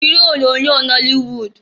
Kirie onyoonyo nọlị wud!